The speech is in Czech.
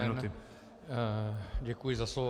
Dobrý den, děkuji za slovo.